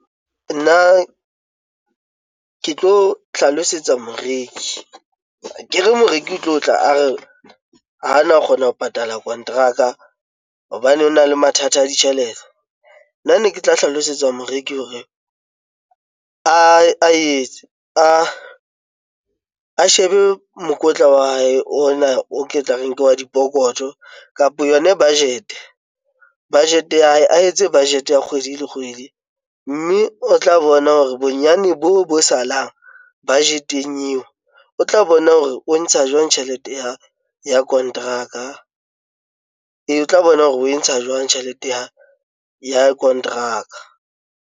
Nna ke tlo hlalosetsa moreki akere moreki o tlo tla a re ho na kgona ho patala kontraka hobane ho na le mathata a ditjhelete. Nna ne ke tla hlalosetsa moreki hore a etse a shebe mokotla wa hae ona o ke tla reng ke wa dipokoto kapa yona budget, budget ya hae a etse budget ya kgwedi le kgwedi mme o tla bona hore bonyane bo bo salang budget eng eo. O tla bona hore o ntsha jwang tjhelete ya kontraka e, O tla bona hore o e ntsha jwang tjhelete ya kontraka.